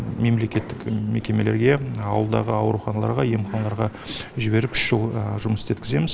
мемлекеттік мекемелерге ауылдағы ауруханаларға емханаларға жіберіп үш жыл жұмыс істеткіземіз